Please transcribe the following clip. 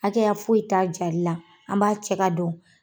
Hakɛ ya foyi t'a jalila, an b'a cɛ ka don.